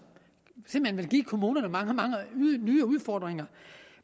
simpelt hen vil give kommunerne mange mange nye udfordringer